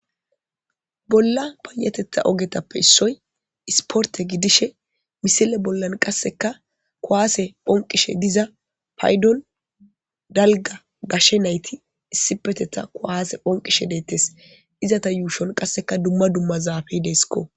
Bolla payattetha ogiyappe issoy ispportte gidishe missille bollan qasekka kuwasse oyqishe dizza payddon dalgga gashe naytti issipetetta kuwasse phonqishe dettees ezatta yushon dumma dumma zaffey de'ssikko.